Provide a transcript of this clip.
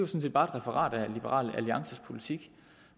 set bare et referat af liberal alliances politik